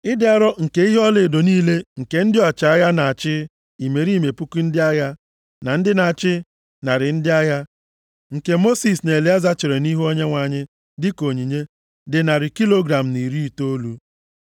Ịdị arọ nke ihe ọlaedo niile nke ndị ọchịagha na-achị imerime puku ndị agha, na ndị na-achị narị ndị agha, nke Mosis na Elieza chere nʼihu Onyenwe anyị dịka onyinye, dị narị kilogram na iri itoolu. + 31:52 Ya bụ puku shekel iri na isii na narị asaa na iri ise